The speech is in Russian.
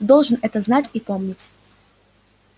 ты должен это знать и помнить